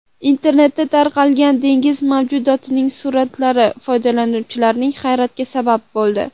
Internetda tarqalgan dengiz mavjudotining suratlari foydalanuvchilarning hayratiga sabab bo‘ldi.